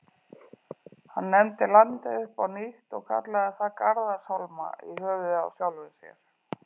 Hann nefndi landið upp á nýtt og kallaði það Garðarshólma, í höfuðið á sjálfum sér.